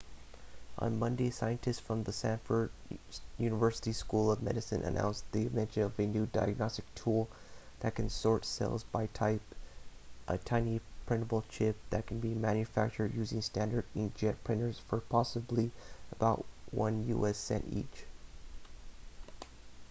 on monday scientists from the stanford university school of medicine announced the invention of a new diagnostic tool that can sort cells by type a tiny printable chip that can be manufactured using standard inkjet printers for possibly about one u.s. cent each